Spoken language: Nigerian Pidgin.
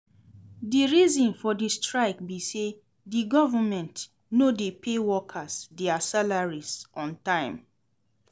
Di reason for di strike be say di government no dey pay workers dia salaries on time.